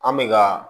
An bɛ ka